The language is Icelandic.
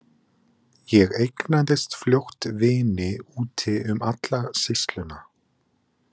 Ég eignaðist fljótt vini úti um alla sýsluna.